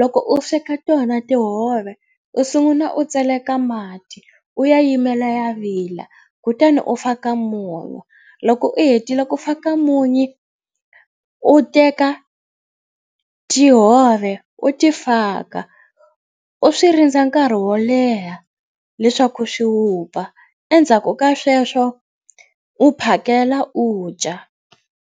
Loko u sweka tona tihove u sungula u tseleka mati u ya yimela ya vila kutani u faka munyu loko u hetile ku fa ka munyu u teka tihove u ta faka u swi rindza nkarhi wo leha leswaku swi vupfa endzhaku ka sweswo u phakela u dya.